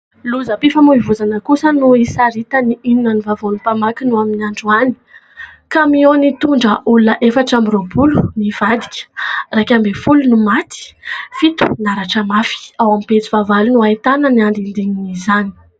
Lozam-pifamoivoizana kosa no isaritan'ny "Inona ny vavao" ny mpamakiny ny amin'ny androany. Kamiao nitondra olona efatra amby roapolo no nivadika. Iraika ambin'ny folo no maty, fito naratra mafy. Ao amin'ny pejy fahavalo no ahitana ny andindinin'izany.